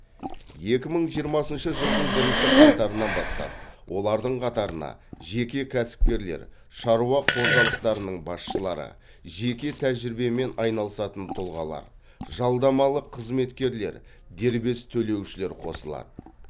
екі мың жиырмасыншы жылдың бірінші қаңтарынан бастап олардың қатарына жеке кәсіпкерлер шаруа қожалықтарының басшылары жеке тәжірибемен айналысатын тұлғалар жалдамалы қызметкерлер дербес төлеушілер қосылады